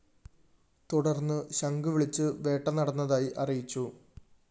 തുടര്‍ന്ന് ശംഖ് വിളിച്ച് വേട്ട നടന്നതായി അറിയിച്ചു